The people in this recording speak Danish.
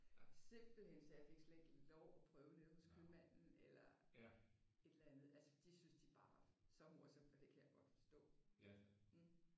Simpelthen så jeg fik slet ikke lov til at prøve det hos købmanden eller et eller andet. Altså det syntes de bare det var så morsomt og det kan jeg også godt forstå altså mh